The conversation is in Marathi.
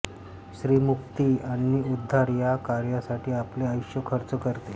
स्त्रीमुक्ती आणि उद्धार या कार्यासाठी आपले आयुष्य खर्च करते